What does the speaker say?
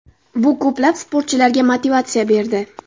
Bu ko‘plab sportchilarga motivatsiya berdi.